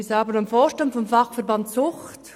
Ich selber bin im Vorstand des Fachverbands Sucht.